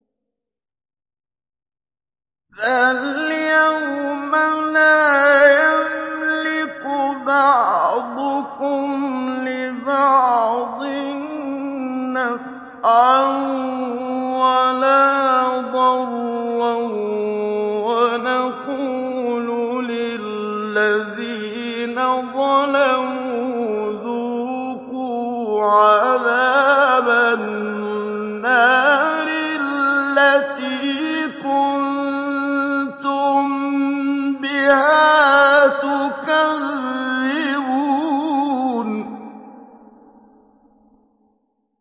فَالْيَوْمَ لَا يَمْلِكُ بَعْضُكُمْ لِبَعْضٍ نَّفْعًا وَلَا ضَرًّا وَنَقُولُ لِلَّذِينَ ظَلَمُوا ذُوقُوا عَذَابَ النَّارِ الَّتِي كُنتُم بِهَا تُكَذِّبُونَ